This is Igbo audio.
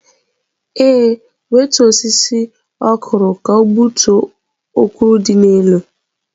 Ee, wetuọ osịsị okwụrụ ka ọ gbutuo okwụrụ di n'elu.